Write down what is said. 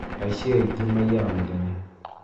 Aici aingĩ maiyaga mũthenya